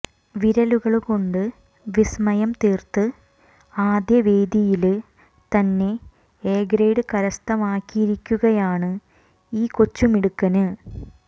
വിരലുകള് കൊണ്ട് വിസ്മയം തീര്ത്ത് ആദ്യ വേദിയില് തന്നെ എ ഗ്രേഡ് കരസ്ഥമാക്കിയിരിക്കുകയാണ് ഈ കൊച്ചുമിടക്കന്